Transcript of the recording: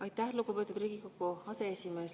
Aitäh, lugupeetud Riigikogu aseesimees!